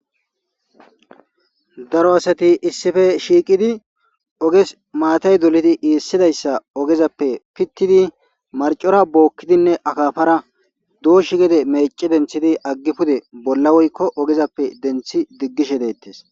Daro asati issife shiiqidi oges maatay doledi iissidayssa ogezappe pittidi marcora bookkidinne akafara dooshi gede mece denthidi aggi pude bolla woykko ogezappe denthi diggishe deettes.